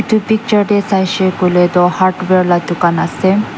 etu picture te saishe koile toh hardware la dukan ase.